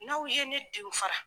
N'aw ye ne denw fara